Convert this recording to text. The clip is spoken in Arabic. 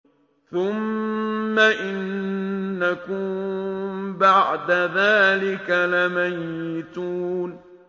ثُمَّ إِنَّكُم بَعْدَ ذَٰلِكَ لَمَيِّتُونَ